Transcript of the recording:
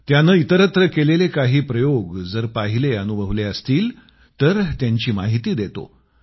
त्यानं इतरत्र केलेले काही प्रयोग जर पाहिले अनुभवले असतील तर त्यांची माहिती देतो